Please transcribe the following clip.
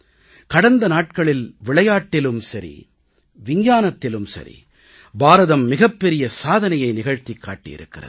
கடந்த நாட்களில் விளையாட்டிலும் சரி விஞ்ஞானத்திலும் சரி பாரதம் மிகப்பெரிய சாதனையை நிகழ்த்திக் காட்டியிருக்கிறது